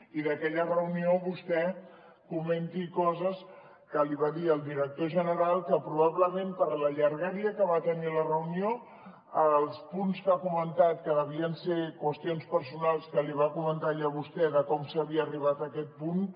i que d’aquella reunió vostè comenti coses que li va dir el director general que probablement per la llargària que va tenir la reunió els punts que ha comentat que devien ser qüestions personals que li va comentar allà vostè de com s’havia arribat a aquest punt